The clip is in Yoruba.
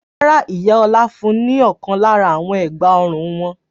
Rárá, ìyá Ọlá fún ní ọ̀kan lára àwọn ẹ̀gbá-ọrùn wọn.